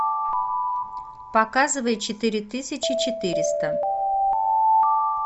показывай четыре тысячи четыреста